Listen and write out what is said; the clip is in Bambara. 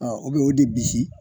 Aa i bɛ o de bisi